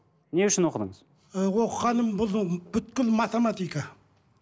не үшін оқыдыңыз ы оқығаным бұның математика